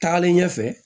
Taalen ɲɛfɛ